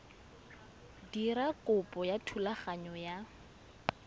dira kopo ya thulaganyo ya